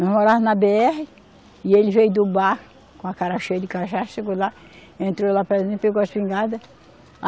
Nós morava na bê erre, e ele veio do bar com a cara cheia de cachaça, chegou lá, entrou lá para gente, pegou a espingarda.